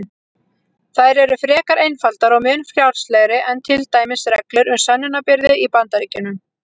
Þær eru frekar einfaldar og mun frjálslegri en til dæmis reglur um sönnunarbyrði í Bandaríkjunum.